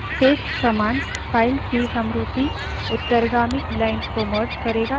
paste command files की समरूपी उत्तरगामी lines को merge करेगा यानि जोड़ेगा